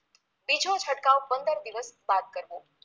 બીજો છંટકાવ પંદર દિવસ બાદ કરવો